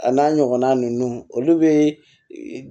A n'a ɲɔgɔnna ninnu olu bɛ